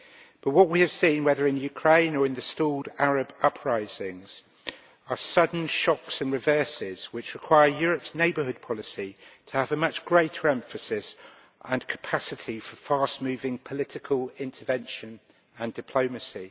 But what we have seen, whether in Ukraine or in the stalled Arab uprisings, are sudden shocks and reverses which require Europe's neighbourhood policy to have a much greater emphasis on and capacity for fast-moving political intervention and diplomacy.